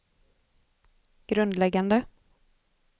grundläggande